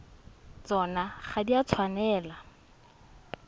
tsona ga di a tshwanela